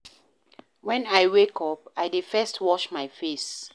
Wen I wake up, I dey first wash my face.